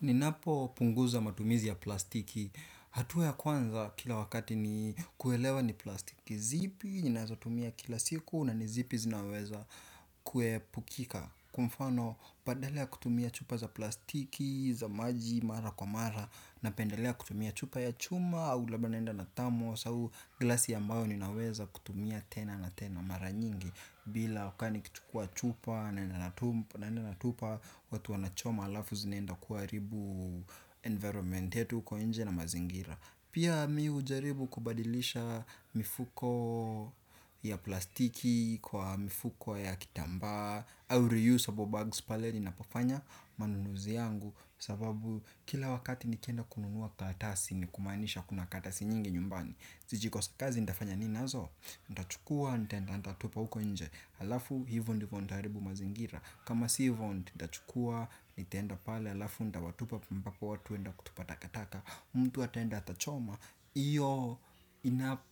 Ninapo punguza matumizi ya plastiki, hatua ya kwanza kila wakati ni kuelewa ni plastiki zipi ninaweza tumia kila siku na nizipi zinaweza kuepukika. Kwa mfano, badala ya kutumia chupa za plastiki, za maji, mara kwa mara. Napendelea kutumia chupa ya chuma, au labda naenda na thamos au, glasi ambao ninaweza kutumia tena na tena mara nyingi. Bila wakani nikichukua chupa naenda natupa. Watu wanachoma alafu zinaenda kuaribu environment yetu uko inje na mazingira. Pia mimi hujaribu kubadilisha mifuko ya plastiki kwa mifuko ya kitamba. Au reusable bags pale ninapo fanya manunuzi yangu. Sababu kila wakati nikienda kununua karatasi ni kumanisha kuna karatasi nyingi nyumbani. Zijikosa kazi nitafanya ninazo. Ntachukua nitaenda nitatupa huko inje alafu hivo ndivo ndaaribu mazingira. Kama si hivo ndachukua nitaenda pale. Alafu ndawatupa ambapo watu huenda kutupa takataka. Mtu ataenda atachoma. Iyo